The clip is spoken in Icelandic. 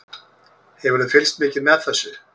Hefurðu fylgst mikið með þessu?